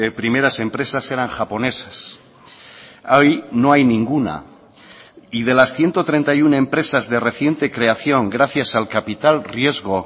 primeras empresas eran japonesas hoy no hay ninguna y de las ciento treinta y uno empresas de reciente creación gracias al capital riesgo